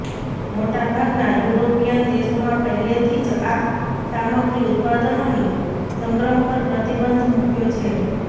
મોટા ભાગના યુરોપીયન દેશોમાં પહેલેથી જ આ સામગ્રી ઉત્પાદનોની સંગ્રહ પર પ્રતિબંધ મૂક્યો છે